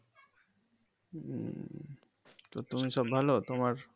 তো তুমি সব ভালো তোমার?